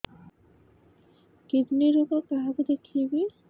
kidney ରୋଗ କାହାକୁ ଦେଖେଇବି